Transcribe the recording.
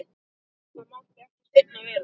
Það mátti ekki seinna vera!